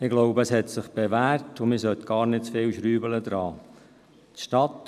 Ich glaube, es hat sich bewährt, und man sollte daran nicht zu viel schrauben.